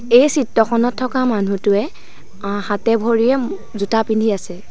এই চিত্ৰখনত থকা মানুহটোৱে হাতে ভৰিয়ে জোতা পিন্ধি আছে।